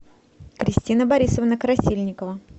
кристина борисовна красильникова